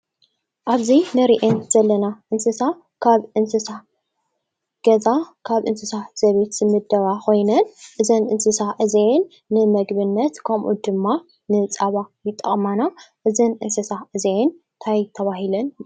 ኣብዘን ነርኤን ዘለና እንስሳ ካብ እንስሳ ገዛ ካብ እንስሳ ዘበት ዝምደባ ኾይነን እዘን እንስሳ እዜን ንምግብነት ከምኡ ድማ ንፃባ ይጣቕማና እዘን እንስሳ እዘየን ታይ ተባሂልን